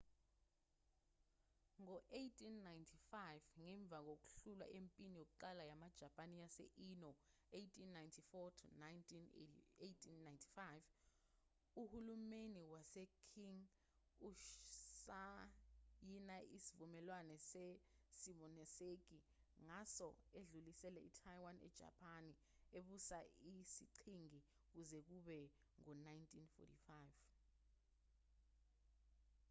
ngo-1895 ngemva kokuhlulwa empini yokuqala yamajapani yase—ino 1894-1895 uhulumeni wase-qing usayina isivumelwano se-simonoseki ngaso edlulisela itaiwan ejapani ebusa isiqhingi kuze kube ngu-1945